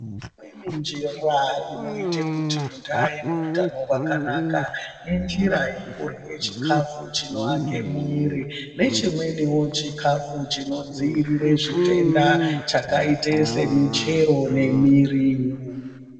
Kune njira inoite kuti munhu aite utano hwakanaka, injira yekurye chikafu chinoake mwiri nechimweniwo chikafu chinodziirire zvitenda chakaite semichero nemiriwo.